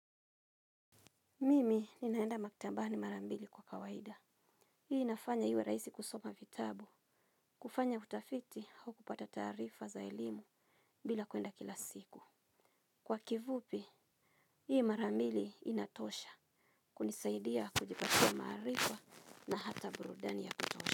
Mimi ninaenda maktabani mara mbili kwa kawaida. Hii inafanya hiiwe raisi kusoma vitabu. Kufanya utafiti hau kupata tarifa za elimu bila kuenda kila siku. Kwa kivupi, hii marambili inatosha. Kunisaidia kujipatia marifa na hata burudani ya kutosha.